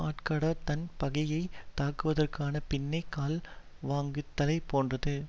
ஆட்டுக்கடா தன் பகையை தாக்குவதற்க்காகப் பின்னே கால் வாங்குதலைப் போன்றது